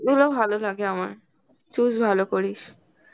গুলো ভালো লাগে আমার, choose ভালো করিস.